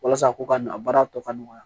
Walasa ko ka na a baara tɔ ka nɔgɔya